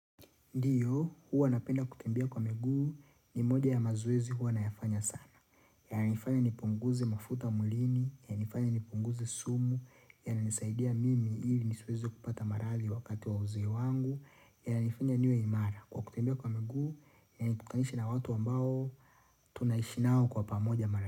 Ndiyo, huwa napenda kutembea kwa miguu ni moja ya mazoezi huwa nayafanya sana. Yananifanya nipunguze mafuta mwilini, yanifanya nipunguze sumu, yanisaidia mimi ili nisiwezi kupata maradhi wakati wa uzee wangu, yananifanya niwe imara kwa kutembea kwa miguu yanikutanisha na watu ambao tunaishi nao kwa pamoja mara.